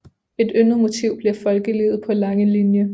Et yndet motiv blev folkelivet på Langelinie